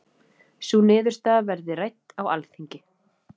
Sú niðurstaða verði rædd á Alþingi